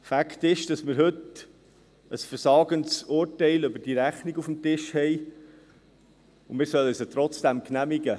Fakt ist, dass wir heute ein versagendes Urteil über diese Rechnung auf dem Tisch haben, und wir sollen sie trotzdem genehmigen.